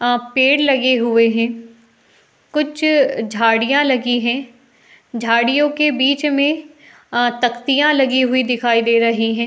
अं पेड़ लगे हुए हैं। कुछ झाड़ियाँ लगी हैं। झाड़ियों के बीच में अं तख्तियाँ लगी हुई दिखाई दे रही हैं।